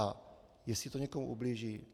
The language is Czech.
A jestli to někomu ublíží?